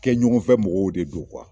Kɛ ɲɔgɔnfɛ mɔgɔw de do